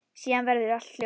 Síðan verður allt hljótt.